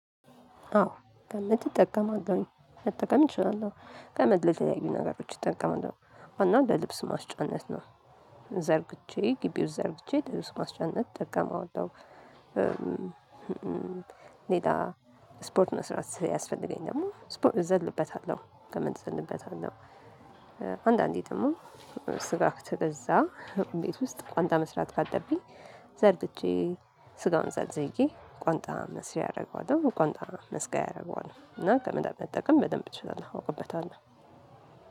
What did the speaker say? አዎ ከምትጠቀማት መጠቀም እችላለሁ ከምር የተለያዩ ነገሮች እጠቀማለው ዋና ለልብስ ማስጫነት ነው። ዘርግቼ ግቢውን ዘርግቼ ለልብስ ማስጫነት እጠቀመዋለው። ሌላ ስፖርት ነው ስራ ሲያስፈልገኝ ደግሞ ስፖርት እዘልበታለሁ ገመድ እዘልበታለው። አንዳንዴ ደግሞ ስጋ ከበዛ ቤት ውስጥ ቋንጣ መስራት ካለብኝ ዘርግቼ ስጋውን ዘርዝዬ ቋንጣ መስሪያ አረገዋለሁ ቋንጣ መስቀያ አረገዋለው። እና ገመድ መጠቀም በደንብ እችላለሁ አውቅበታለህ።